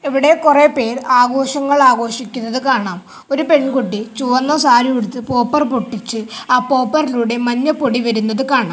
ഇവടെ കൊറേ പേർ ആഘോഷങ്ങൾ ആഘോഷിക്കുന്നത് കാണാം ഒരു പെൺകുട്ടി ചുവന്ന സാരിയുടുത്ത് പോപ്പർ പൊട്ടിച്ച് ആ പോപ്പറിലൂടെ മഞ്ഞപ്പൊടി വരുന്നത് കാണാം.